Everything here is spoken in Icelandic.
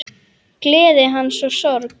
Gleði hans og sorg.